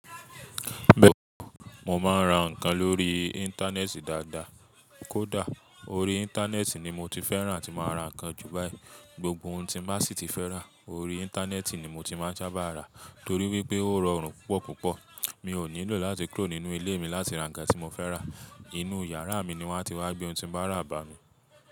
Bẹ́ẹ̀ni, mò máa ń ra ǹkan lórí íńtánẹ́ẹ̀tì dáadáa. Kódà orí intaneeti ni moti fẹràn àti máa ra nnkan ju báyìí. Gbogbo ohun tí má sì ti fẹ́ rà, orí íńtánẹ́ẹ̀tì ni mo ti máa ń sábà ra torí wípé ó rọrùn púpọ̀ púpọ̀. Mi ò nílò láti kúrò nínú ilé mi láti ra ǹkan tí mo fẹ́ rà. Inú yàrá mi ni wọ́n a ti wá gbé ohun tí n bá rà bá mi.